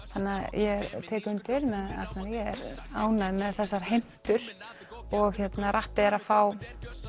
ég tek undir með Arnari ég er ánægð með þessar heimtur og rappið er að fá